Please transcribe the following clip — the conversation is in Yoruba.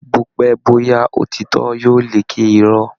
Bópẹ́ bóyá òtítọ́ yóò lékè Irọ́